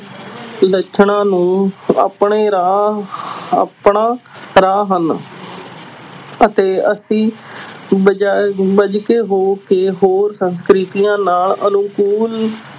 ਲੱਛਣਾਂ ਨੂੰ ਆਪਣੇ ਰਾਹ ਆਪਣਾ ਰਾਹ ਹਨ ਅਤੇ ਅਸੀਂ ਬਜਾਏ ਹੋ ਕੇ ਹੋਰ ਸੰਸਕ੍ਰਿਤੀਆਂ ਨਾਲ ਅਨੁਕੂਲ